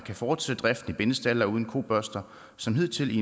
kan fortsætte driften i bindestalde og uden kobørster som hidtil